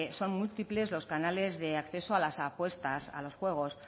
son múltiples los canales de acceso a las apuesta a los juegos